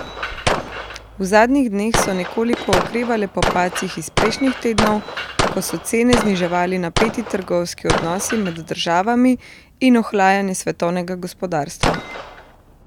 V zadnjih dneh so nekoliko okrevale po padcih iz prejšnjih tednov, ko so cene zniževali napeti trgovinski odnosi med državami in ohlajanje svetovnega gospodarstva.